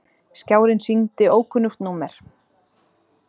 Skjárinn sýndi ókunnugt númer.